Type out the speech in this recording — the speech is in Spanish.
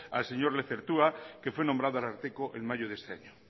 al señor lezertua que fue nombrado ararteko en mayo de este año